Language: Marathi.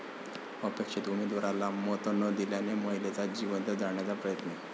अपेक्षित उमेदवाराला मत न दिल्यानं महिलेला जिवंत जाळण्याचा प्रयत्न